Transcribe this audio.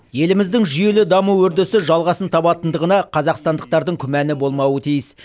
еліміздің жүйелі даму үрдісі жалғасын табатындығына қазақстандықтардың күмәні болмауы тиіс